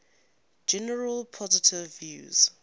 generally positive reviews